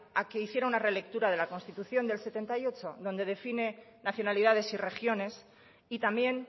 a que hiciera una relectura de la constitución de mil novecientos setenta y ocho donde define nacionalidades y regiones y también